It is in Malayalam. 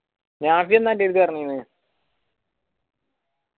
നാഫി ന്താ ആൻറടെത്ത് പറഞ്ഞേര്